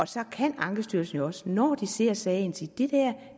så kan ankestyrelsen jo også når de ser sagen sige